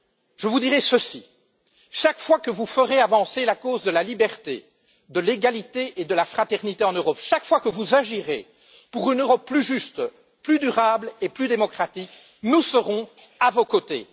Je vous dis ceci chaque fois que vous ferez avancer la cause de la liberté, de l'égalité et de la fraternité en Europe, chaque fois que vous agirez pour une Europe plus juste, plus durable et plus démocratique, nous serons à vos côtés.